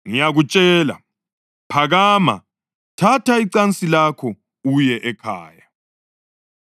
“Ngiyakutshela, phakama, thatha icansi lakho uye ekhaya.”